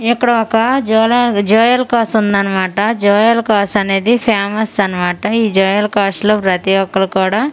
ఇక్కడ ఒక జోల జోయల్కాస్ వుందన్న మాట జోయల్కాస్ అనేది ఫేమస్ అన్నమాట ఈ జోయల్కాస్ లో ప్రతిఒక్కలు కూడా .]